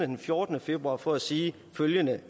den fjortende februar for at sige følgende